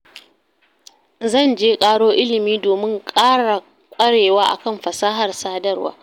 Zan je ƙaro ilimi domin ƙara ƙwarewa a kan fasahar sadarwa.